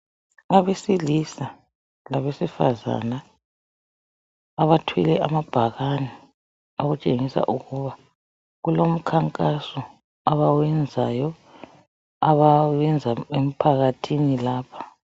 Abesilisa labesifazana abathwele amabhakane okutshengisa ukuba kulomkhankaso abawenzayo abawenza emphakathini lapha.